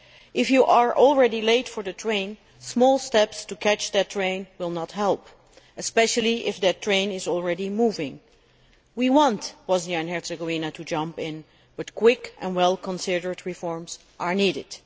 If you are already late for the train, small steps to catch that train will not help, especially if that train is already moving. We want Bosnia and Herzegovina to jump in, but quick and well considered reforms are needed.